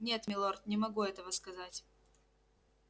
нет милорд не могу этого сказать